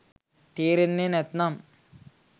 තේරෙන්නේ නැත්නම්